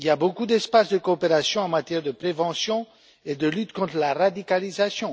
Il y a beaucoup d'espace de coopération en matière de prévention et de lutte contre la radicalisation.